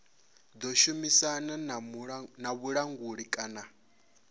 ḓo shumisana na vhulanguli kana